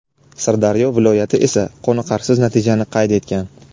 Sirdaryo viloyati esa qoniqarsiz natijani qayd etgan.